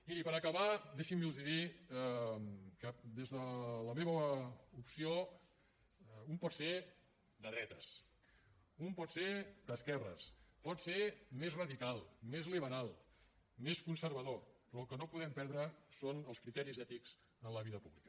miri per acabar deixin me’ls dir que des de la meva opció un pot ser de dretes un pot ser d’esquerres pot ser més radical més liberal més conservador però el que no podem perdre són els criteris ètics en la vida pública